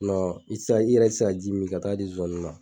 i tɛ se ka i yɛrɛ tɛ se ka ji min ka taa di zozaniw ma.